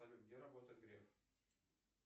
салют где работает греф